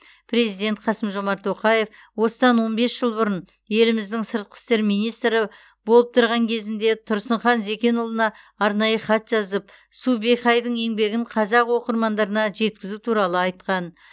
президент қасым жомарт тоқаев осыдан он бес жыл бұрын еліміздің сыртқы істер министрі болып тұрған кезінде тұрсынхан зәкенұлына арнайы хат жазып су бэйхайдың еңбегін қазақ оқырмандарына жеткізу туралы айтқан